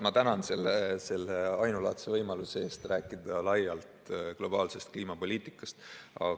Ma tänan selle ainulaadse võimaluse eest rääkida laialt globaalsest kliimapoliitikast!